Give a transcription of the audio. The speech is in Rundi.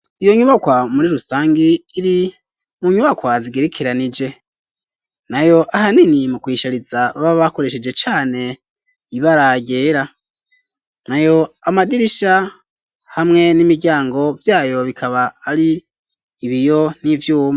Iyo nyubakwa muri rusangi iri mu nyubakwa zigerekeranije nayo ahanini mu ku yishariza baba bakoresheje cane ibara ryera nayo amadirisha hamwe n'imiryango vyayo akaba ari ibiyo n'ivyuma.